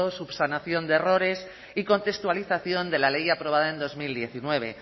subsanación de errores y contextualización de la ley aprobada en dos mil diecinueve